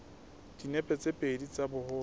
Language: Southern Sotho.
dinepe tse pedi tsa boholo